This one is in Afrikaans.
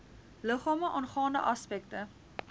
liggame aangaande aspekte